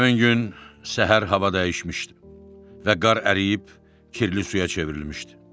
Həmin gün səhər hava dəyişmişdi və qar əriyib kirli suya çevrilmişdi.